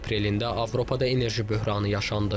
Bu ilin aprelində Avropada enerji böhranı yaşandı.